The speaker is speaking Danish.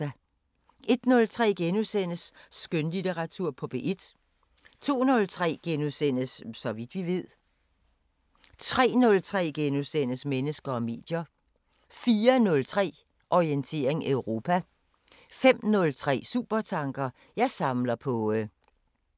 01:03: Skønlitteratur på P1 * 02:03: Så vidt vi ved * 03:03: Mennesker og medier * 04:03: Orientering Europa 05:03: Supertanker: Jeg samler på ...